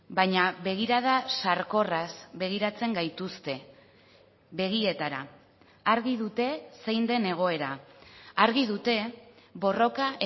baina begirada sarkorraz begiratzen gaituzte begietara argi dute zein den egoera argi dute borroka